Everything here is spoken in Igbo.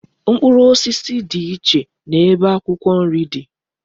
Mkpụrụ osisi di iche na ebe akwukwo nri di